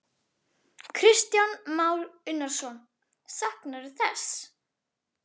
Kristján Már Unnarsson: Saknarðu þess?